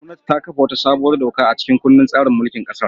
Gwamnati ta kafa wata sabuwar doka a cikin kundin tsarin mulkin kasar.